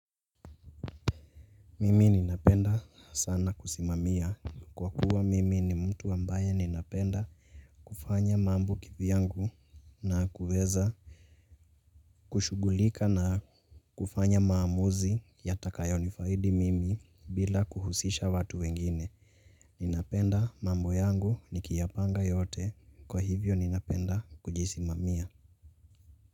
Mimi ninapenda sana kusimamia. Kwa kuwa mimi ni mtu ambaye ninapenda kufanya mambo kivyangu na kuweza kushughulika na kufanya maamuzi yatakayo nifaidi mimi. Bila kuhusisha watu wengine. Ninapenda mambo yangu nikiyapanga yote kwa hivyo ninapenda kujisimamia.